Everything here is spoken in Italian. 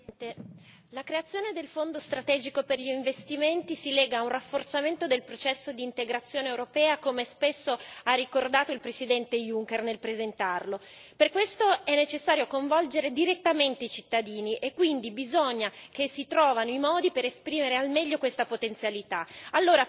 Signor Presidente, onorevoli colleghi, la creazione del Fondo strategico per gli investimenti si lega a un rafforzamento del processo di integrazione europea, come spesso ha ricordato il Presidente Juncker nel presentarlo. Per questo, è necessario coinvolgere direttamente i cittadini e quindi bisogna che si trovino i modi per esprimere al meglio questa potenzialità.